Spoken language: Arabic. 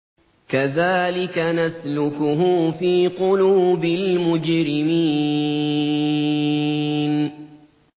كَذَٰلِكَ نَسْلُكُهُ فِي قُلُوبِ الْمُجْرِمِينَ